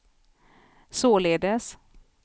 således